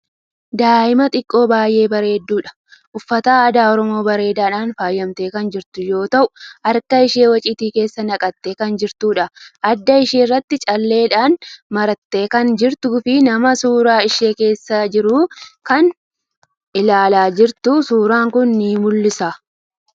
Daa'ima xiqqoo baay'ee bareeddudha. Uffata aadaa Oromoo bareedadhaan faayamtee kan jirtu yoo ta'u harka ishee waciitii keessa naqxee kan jirtuudha. Adda ishee irratti calleedhan marattee kan jirtuu fii nama suuraa ishee kaasaa jiru kan ilaalaa jirtu suuran kuni ni mul'isa.